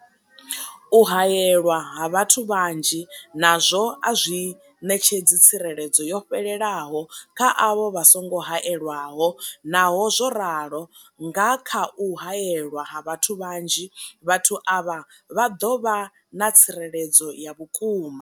U haelwa ha vhathu vhanzhi nazwo a zwi ṋetshedzi tsireledzo yo fhelelaho kha avho vha songo haelwaho, Naho zwo ralo, nga kha u haelwa ha vhathu vhanzhi, vhathu avha vha ḓo vha na tsireledzo ya vhukuma.